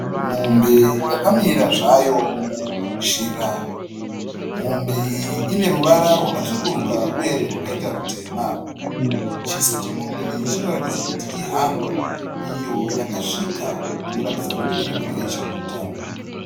Mombe yakamira zvayo muzhira mombe iyi ineruvara rwakatsvuruka uye rwakaita rutema. Chiso chemombe iyi chinoratidza kuti ihando iyo yakasvika inoratidza kuti irikudya ichiguta.